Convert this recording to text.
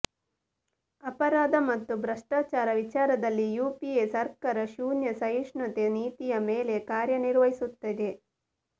ಅಪರಾಧ ಮತ್ತು ಭ್ರಷ್ಟಾಚಾರ ವಿಚಾರದಲ್ಲಿ ಯುಪಿಎ ಸರ್ಕಾರ ಶೂನ್ಯ ಸಹಿಷ್ಣುತೆ ನೀತಿಯ ಮೇಲೆ ಕಾರ್ಯನಿರ್ವಹಿಸುತ್ತಿದೆ